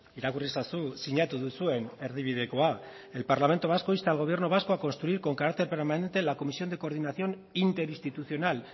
irakurri ezazu sinatu duzuen erdibidekoa el parlamento vasco insta al gobierno vasco a construir con carácter permanente la comisión de coordinación interinstitucional